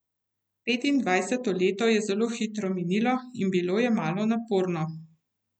Petindvajseto leto je zelo hitro minilo in bilo je malo naporno.